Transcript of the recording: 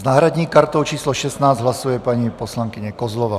S náhradní kartou číslo 16 hlasuje paní poslankyně Kozlová.